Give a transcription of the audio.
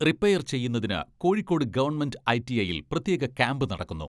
Repair ചെയ്യുന്നതിന് Kozhikode government ITI യിൽ പ്രത്യേകക്യാംപ് നടക്കുന്നു.